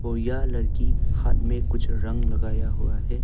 ओइया लड़की हाथ में कुछ रंग लगाया हुआ है।